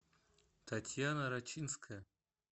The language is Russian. татьяна рачинская